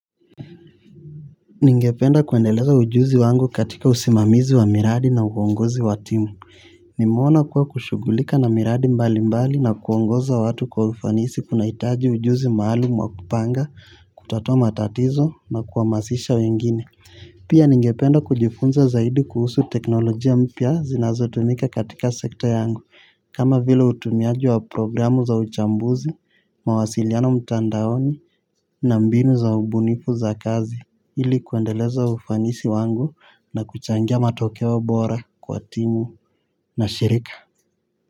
Ningependa kuendeleza ujuzi wangu katika usimamizi wa miradi na uongozi wa timu. Nimeona kuwa kushugulika na miradi mbali mbali na kuongoza watu kwa ufanisi kuna itaji ujuzi maalumu wa kupanga, kutatua tatizo na kuamasisha wengine. Pia ningependa kujifunza zaidi kuhusu teknolojia mpya zinazotumika katika sekta yangu. Kama vile utumiaji wa programu za uchambuzi, mawasiliano mtandaoni na mbinu za ubunifu za kazi. Hili kuendeleza ufanisi wangu na kuchangia matokeo bora kwa timu na shirika.